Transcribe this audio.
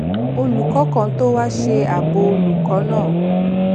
olùkó kan tó wá ṣe àbò olùkó náà